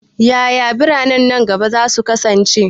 Yaya biranen nan gaba za su kasance?